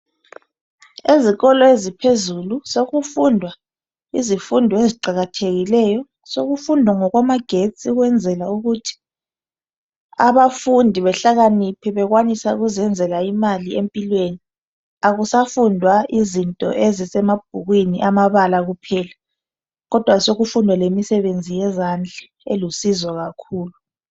Ezikolo eziphezulu sokufundwa izifundo eziqakathekileyo. Sokufundwa ngokwamagetsi ukwenzela ukuthi abafundi behlakaniphe bekwanise ukuzenzela imali empilweni. Akusafundwa izinto ezisemabhukwini amabala kuphela kodwa sokufundwa imsebenzi yezandla elusizo kakhulu.